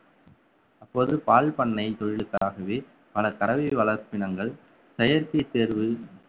அப்போது பால் பண்ணை தொழிலுக்காகவே பல கறவை வளர்ப்பினங்கள் செயற்கை சேர்வு